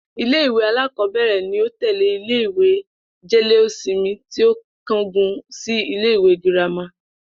Ilé ìwé alákò̩ó̩bè̩rè̩ ni ó tè̩lé ilé ìwé jé̩lé-ósinmi tí ó sì kángun sí ilé ìwé girama